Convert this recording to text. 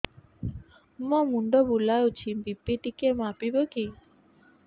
ମୋ ମୁଣ୍ଡ ବୁଲାଉଛି ବି.ପି ଟିକିଏ ମାପିବ କି